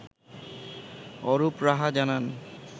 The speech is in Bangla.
অরুপ রাহা জানান